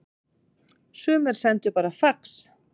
Sumir sendu bara fax